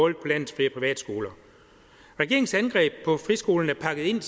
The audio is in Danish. landets fri og privatskoler regeringens angreb på friskolen er pakket ind